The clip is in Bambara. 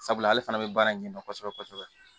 Sabula ale fana bɛ baara in ɲɛdɔn kosɛbɛ kosɛbɛ